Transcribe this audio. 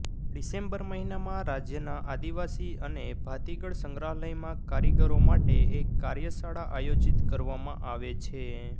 December મહીનામાં રાજ્યના આદિવાસી અને ભાતિગળ સંગ્રહાલયમાં કારીગરો માટે એક કાર્યશાળા આયોજિત કરવામાં આવે છે